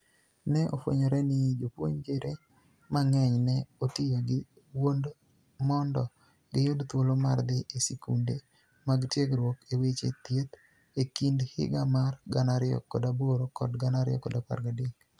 ni e ofweniyore nii jopuonijre manig'eniy ni e otiyo gi wuonid monido giyud thuolo mar dhi e skunide mag tiegruok e weche thieth e kinid higa mar 2008 kod 2013.